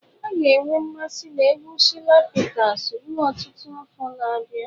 A ga-enwe mmasị na egwu Shina Peters ruo ọtụtụ afọ na-abịa.